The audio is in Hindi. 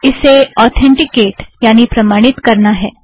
इसे ऑतेंटिकेट यानि प्रमाणित करना है